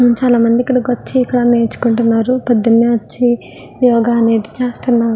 చాలా మంది ఇక్కడ వచ్చి ఇక్కడ నేర్చుకుంటున్నారు పొద్దున్నే వచ్చి యోగ అనేది చేస్తున్నారు.